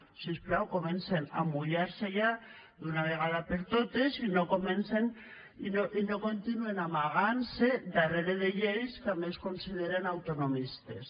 si us plau comencen a mullar se ja d’una vegada per totes i no continuen amagant se darrere de lleis que a més consideren autonomistes